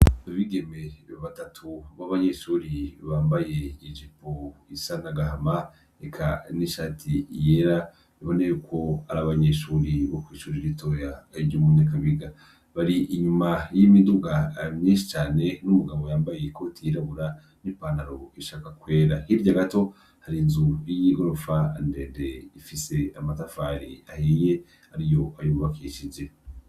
Bigeme batatu b' abanyeshuri bambaye ijepo isanagahama eka n'ishati iyera biboneyeuko ari abanyeshuri bokwishujwa itoya ayirya umunyakabiga bari inyuma y'imiduga myishi cane n'umugabo yambaye ikoti yirabura n'ipantaro ishaka kwera hirya gato hari inzu y'i gorofa andede ifise amatafari ahiye ari yo ayuubakishije.